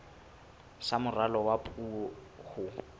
sa moralo wa puo ho